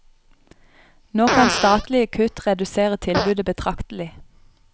Nå kan statlige kutt redusere tilbudet betraktelig.